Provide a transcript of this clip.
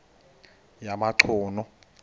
yamachunu